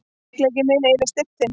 Veikleiki minn yfir styrk þinn.